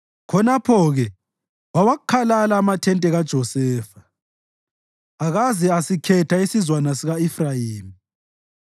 Khonapho-ke wawakhalala amathente kaJosefa, akaze asikhetha isizwana sika-Efrayimi;